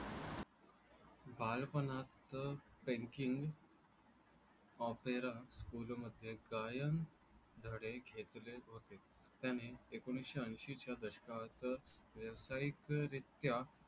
बालपणात तेन्कीन ओपेरा स्कूलमध्ये कायम धडे घेतले होते. त्याने एकोणीसशे ऐशीच्या दशकात व्यावसायिकरीत्या